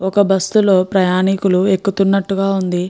ఒక బస్ లో ప్రయాణికులు ఎక్కుతున్నట్టుగ వుంది.